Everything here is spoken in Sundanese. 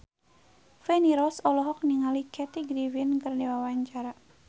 Feni Rose olohok ningali Kathy Griffin keur diwawancara